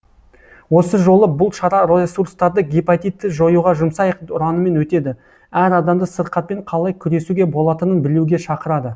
осы жолы бұл шара ресурстарды гепатитті жоюға жұмсайық ұранымен өтеді әр адамды сырқатпен қалай күресуге болатынын білуге шақырады